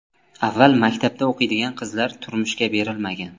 Avval maktabda o‘qiydigan qizlar turmushga berilmagan.